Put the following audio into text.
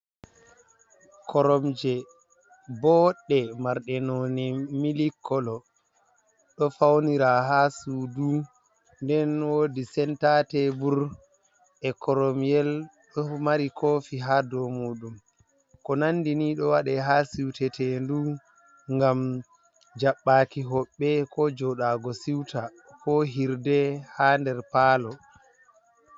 Koromje booɗɗe marɗe noone milikolo, ɗo fawnira haa suudu nden woodi senta teebur bur e koromyel ɗo mari koofi haa dow muɗum ko nandi nii ɗo waɗa haa siutetendu ngam jabbaaki hoɓɓe koo jodaago siuta koo hirde haa nder paalo.